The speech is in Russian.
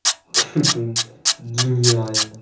хи-хи гениально